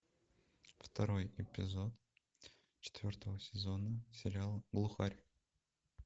второй эпизод четвертого сезона сериал глухарь